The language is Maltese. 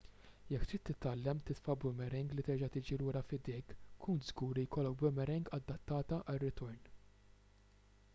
jekk trid titgħallem titfa' boomerang li terġa' tiġi lura f'idejk kun żgur li jkollok boomerang adattata għar-ritorn